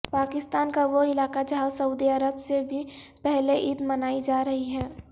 پاکستان کا وہ علاقہ جہاں سعودی عرب سے بھی پہلے عید منائی جا رہی ہے